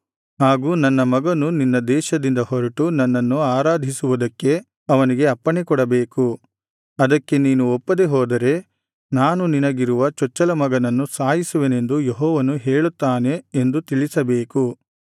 ಹಾಗೂ ನನ್ನ ಮಗನು ನಿನ್ನ ದೇಶದಿಂದ ಹೊರಟು ನನ್ನನ್ನು ಆರಾಧಿಸುವುದಕ್ಕೆ ಅವನಿಗೆ ಅಪ್ಪಣೆಕೊಡಬೇಕು ಅದಕ್ಕೆ ನೀನು ಒಪ್ಪದೇ ಹೋದರೆ ನಾನು ನಿನಗಿರುವ ಚೊಚ್ಚಲಮಗನನ್ನು ಸಾಯಿಸುವೆನೆಂದು ಯೆಹೋವನು ಹೇಳುತ್ತಾನೆ ಎಂದು ತಿಳಿಸಬೇಕು